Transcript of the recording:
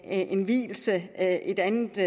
en vielse et andet